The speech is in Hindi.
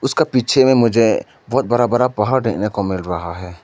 उसका पीछे में मुझे बहोत बड़ा बड़ा पहाड़ देखने को मिल रहा है।